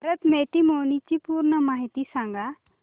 Bharat matrimony ची पूर्ण माहिती सांगा